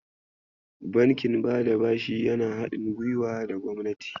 Bankin bada bashi yana haɗin guiwa da gwamnati.